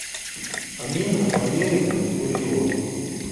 амина валерьевна курило